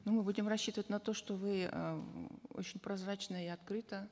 ну будем рассчитывать на то что вы э очень прозрачно и открыто